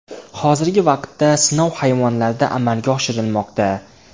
Hozirgi vaqtda sinov hayvonlarda amalga oshirilmoqda.